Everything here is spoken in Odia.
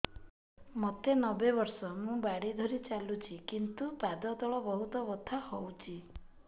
ମୋତେ ନବେ ବର୍ଷ ମୁ ବାଡ଼ି ଧରି ଚାଲୁଚି କିନ୍ତୁ ପାଦ ତଳ ବହୁତ ବଥା ହଉଛି